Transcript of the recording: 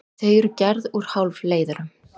Þau eru gerð úr hálfleiðurum.